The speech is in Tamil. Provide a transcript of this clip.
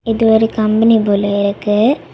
இது ஒரு கம்பெனி போல இருக்கு.